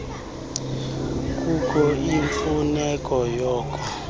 kukho imfuneko yoko